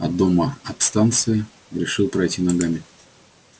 до дома от станции решил пройти ногами